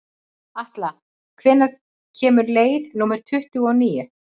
Atla, hvenær kemur leið númer tuttugu og níu?